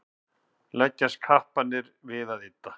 leggjast kapparnir við að ydda